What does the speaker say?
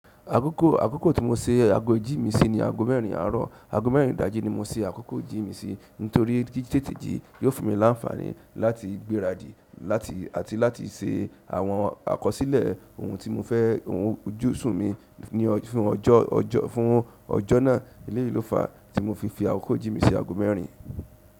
Àkókò, àkókò tí mo se ago ijí mi sí ni ago mẹ́rin àárọ̀, ago mẹ́rin ìdájí ni mo se àkókò ijí mi sí, nítorí ti tètè jí yóò fún mi láńfàní láti gberadi láti àti láti se àwọn àkọsílẹ̀ ohun tí mo fẹ́ ohun ojúṣùn mi ní ọ fún ọjọ́, ọjọ́, fún ọjọ́ náà. Eléyìí ló fàá tí mo fi fi àkókò ijí mi si ago mẹ́rin.